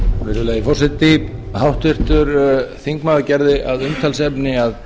virðulegi forseti háttvirtur þingmaður gerði að umtalsefni að